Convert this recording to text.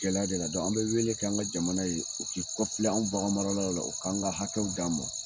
Gɛlɛya de la dɔrɔn an be wele kɛ an ka jamana ye o k'i kɔfilɛ an baganmalaw la o k'an ka hakɛw d'an ma